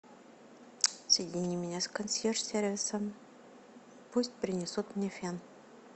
соедини меня с консьерж сервисом пусть принесут мне фен